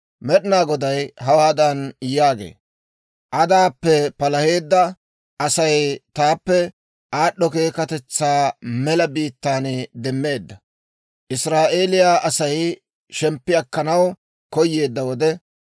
Med'inaa Goday hawaadan yaagee; «Adaappe palaheedda Asay taappe aad'd'o keekkatetsaa Mela biittaan demmeedda. Israa'eeliyaa Asay shemppi akkanaw koyeedda wode,